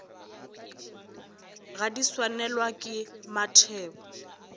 ge di swanelwa ke mathebo